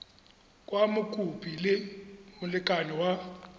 kwa mokopi le molekane wa